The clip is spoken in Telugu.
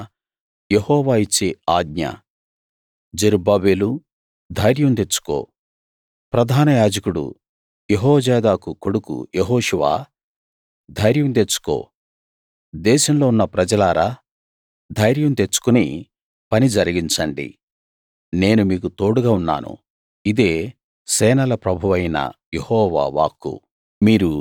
అయినా యెహోవా ఇచ్చే ఆజ్ఞ జెరుబ్బాబెలూ ధైర్యం తెచ్చుకో ప్రధానయాజకుడు యెహోజాదాకు కొడుకు యెహోషువా ధైర్యం తెచ్చుకో దేశంలో ఉన్న ప్రజలారా ధైర్యం తెచ్చుకుని పని జరిగించండి నేను మీకు తోడుగా ఉన్నాను ఇదే సేనల ప్రభువైన యెహోవా వాక్కు